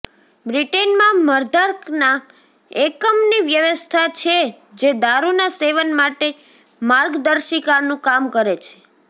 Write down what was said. બ્રિટનમાં મદ્યાર્કના એકમની વ્યવસ્થા છે જે દારૂના સેવન માટે માર્ગદર્શિકાનું કામ કરે છે